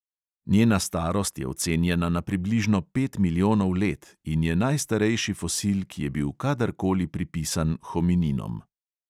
Njena starost je ocenjena na približno pet milijonov let in je najstarejši fosil, ki je bil kadar koli pripisan homininom.